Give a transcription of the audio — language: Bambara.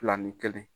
Fila ni kelen